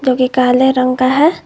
जो कि काले रंग का है।